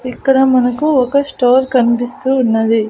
ఇక్కడ మనకు ఒక స్టోర్ కన్పిస్తూ ఉన్నది.